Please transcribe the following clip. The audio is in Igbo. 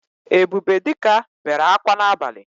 Ebubedika bere akwa n’abali